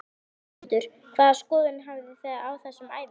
Höskuldur: Hvaða skoðun hafi þið á þessum æfingum?